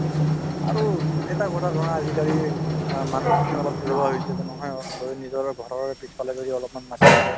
আৰু এটা কথা ধৰা আজিকালি অ মানুহখিনি অলপ এলেহুৱা হৈছে যে নহয় অ যদি নিজৰ ঘৰৰে পিছফালে যদি অলপমান মাটি আছে